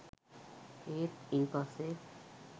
ඒත් ඉන්පස්සෙ